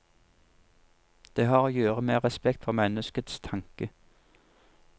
Det har å gjøre med respekt for menneskets tanke.